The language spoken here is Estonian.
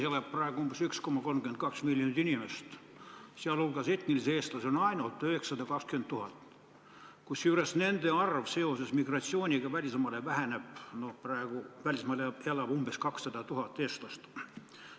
Eesti elab praegu umbes 1,32 miljonit inimest, sh etnilisi eestlasi ainult 920 000, kusjuures nende arv seoses migratsiooniga välismaale väheneb – välismaal elab umbes 200 000 eestlast.